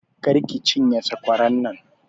Kar ki cinye sakwaran nan!